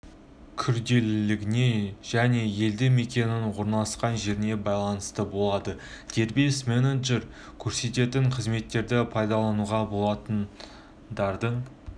күрделілігіне және елді мекеннің орналасқан жеріне байланысты болады дербес менеджер көрсететін қызметтерді пайдалануға болатын лардың